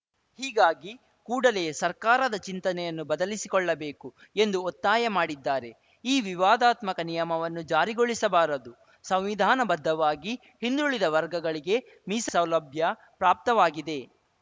ಹೀಗಾಗಿ ಕೂಡಲೇ ಸರ್ಕಾರದ ಚಿಂತನೆಯನ್ನು ಬದಲಿಸಿಕೊಳ್ಳಬೇಕು ಎಂದು ಒತ್ತಾಯ ಮಾಡಿದ್ದಾರೆ ಈ ವಿವಾದಾತ್ಮಕ ನಿಯಮವನ್ನು ಜಾರಿಗೊಳಿಸಬಾರದು ಸಂವಿಧಾನಬದ್ಧವಾಗಿ ಹಿಂದುಳಿದ ವರ್ಗಗಳಿಗೆ ಮೀಸ ಸೌಲಭ್ಯ ಪ್ರಾಪ್ತವಾಗಿದೆ